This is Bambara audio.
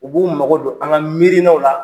U b'u mago don an ka miiriinaw la